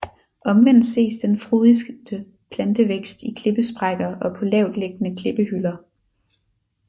Omvendt ses den frodigste plantevækst i klippesprækker og på lavtliggende klippehylder